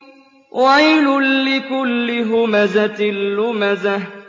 وَيْلٌ لِّكُلِّ هُمَزَةٍ لُّمَزَةٍ